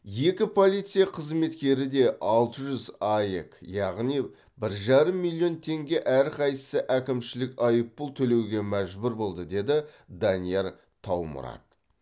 екі полиция қызметкері де алты жүз аек яғни бір жарым миллион теңге әрқайсысы әкімшілік айыпұл төлеуге мәжбүр болды деді данияр таумұрат